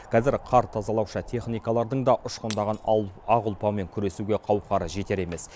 қазір қар тазалаушы техникалардың да ұшқындаған ақ ұлпамен күресуге қауқары жетер емес